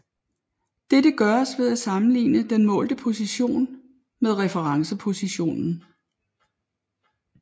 Dette gøres ved at sammenligne den målte position med referencepositionen